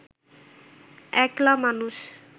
একলা মানুষ